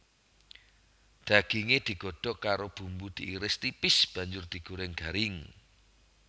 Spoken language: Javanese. Daginge digodhog karo bumbu diiris tipis banjur digoreng garing